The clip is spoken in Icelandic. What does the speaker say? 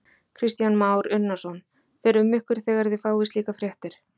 Kristján Már Unnarsson: Fer um ykkur þegar þið fáið slíkar fréttir?